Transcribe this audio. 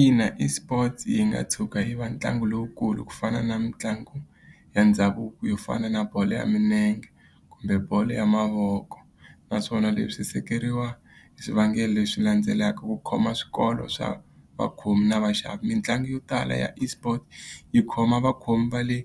Ina eSports yi nga tshuka yi ve ntlangu lowukulu ku fana na mitlangu ya ndhavuko yo fana na bolo ya milenge, kumbe bolo ya mavoko. Naswona leswi hi seketeriwa hi swivangelo leswi landzelaka, ku khoma swikolo swa vakhomi na vaxavi. Mitlangu yo tala ya eSport yi khoma vakhomi va le